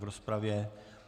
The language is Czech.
V rozpravě.